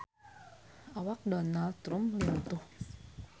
Awak Donald Trump lintuh